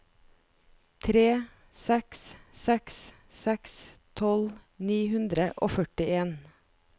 tre seks seks seks tolv ni hundre og førtien